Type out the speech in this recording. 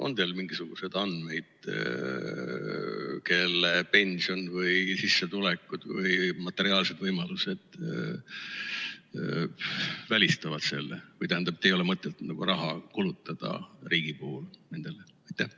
On teil mingisuguseid andmeid selle kohta, kui paljude pension või sissetulekud või materiaalsed võimalused selle välistavad või, tähendab, ei ole mõtet riigi raha kulutada?